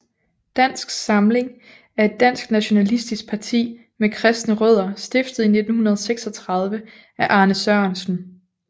Dansk Samling er et dansk nationalistisk parti med kristne rødder stiftet i 1936 af Arne Sørensen